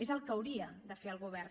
és el que hauria de fer el govern